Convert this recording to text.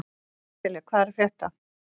Sesselja, hvað er að frétta?